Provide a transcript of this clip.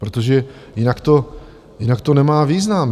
Protože jinak to nemá význam.